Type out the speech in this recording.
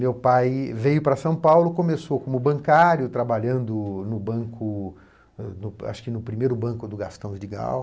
Meu pai veio para São Paulo e começou como bancário, trabalhando no banco, no primeiro banco do Gastão de Gal.